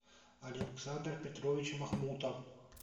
александр петрович махмутов